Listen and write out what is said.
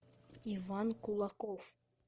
иван кулаков